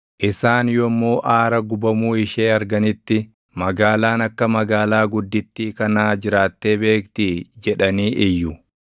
Isaan yommuu aara gubamuu ishee arganitti, ‘Magaalaan akka magaalaa guddittii kanaa jiraattee beektii?’ jedhanii iyyu.